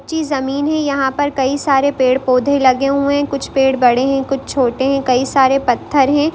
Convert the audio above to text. कच्ची जमीन है यहाँ पर कई सारे पेड़-पौधे लगे हुए हैं कुछ पेड़ बड़े हैं कुछ छोटे हैं कई सारे पत्थर हैं।